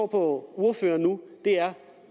på ordføreren nu